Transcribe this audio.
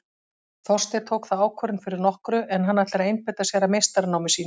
Þorsteinn tók þá ákvörðun fyrir nokkru en hann ætlar að einbeita sér að meistaranámi sínu.